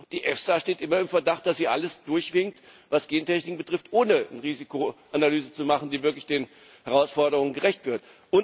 Die EFSA steht immer im Verdacht, dass sie alles durchwinkt, was Gentechnik betrifft, ohne eine Risikoanalyse zu machen, die wirklich den Herausforderungen gerecht wird.